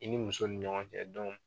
I ni muso ni ɲɔgɔn cɛ .